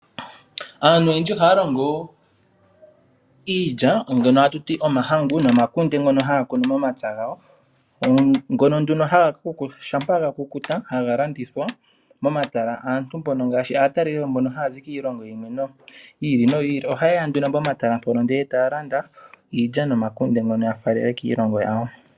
Aaantu oyendji ohaya longo iilya mbyono ha tu ti omahangu nomakunde ngono haya kunu momapya gawo. Omakunde shampa ga kukuta ohaga landithwa momatala. Aatalelipo mbono ha ya zi kiilongo yi ili noyi ili oha ye ya nduno pomatala ndele taya landa iilya nomakunde ngono ya faalele kiilongo yawo.